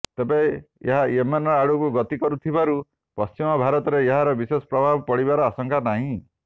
ତେବେ ଏହା ୟେମେନ୍ ଆଡକୁ ଗତି କରୁଥିବାରୁ ପଶ୍ଚିମ ଭାରତରେ ଏହାର ବିଶେଷ ପ୍ରଭାବ ପଡ଼ିବାର ଆଶଙ୍କା ନାହିଁ